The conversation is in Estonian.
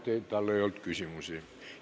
Palun vabandust, et talle küsimusi ei olnud.